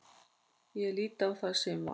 Ég lít á það sem val.